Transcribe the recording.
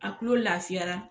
A tulo lafiyara